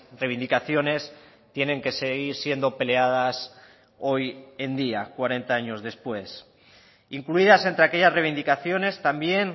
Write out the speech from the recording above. reivindicaciones tienen que seguir siendo peleadas hoy en día cuarenta años después incluidas entre aquellas reivindicaciones también